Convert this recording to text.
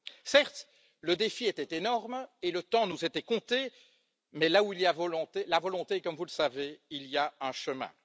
Certes, le défi était énorme et le temps nous était compté, mais là où il y a la volonté, comme vous le savez, il y a un chemin.